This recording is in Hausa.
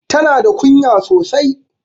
Tana da kunya sosai.